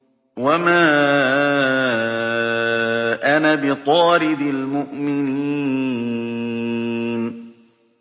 وَمَا أَنَا بِطَارِدِ الْمُؤْمِنِينَ